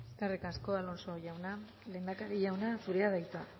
eskerrik asko alonso jauna lehendakari jauna zurea da hitza